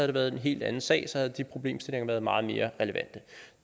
det været en helt anden sag så havde de problemstillinger være meget mere relevante